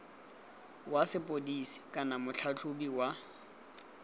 wa sepodisi kana motlhatlhobi wa